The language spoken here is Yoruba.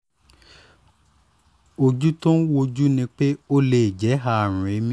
ojú tó ń wojú ni pé ó lè jẹ́ jẹ́ àrùn èémí